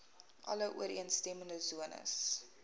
alle ooreenstemmende sones